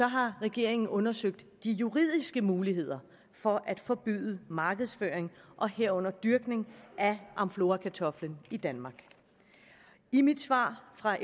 har regeringen undersøgt de juridiske muligheder for at forbyde markedsføring og herunder dyrkning af amflorakartoflen i danmark i mit svar fra